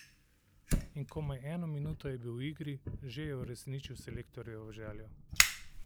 In komaj eno minuto je bil v igri, že je uresničil selektorjevo željo.